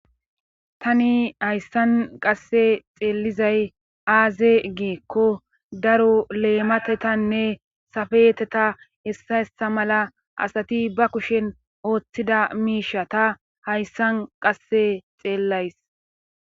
tani hayssan qasse xeellizay aaze giikko daro leematetanne safeedeta ista ista mala asati ba kushen oottida miishshata hayssan qasse xeellays.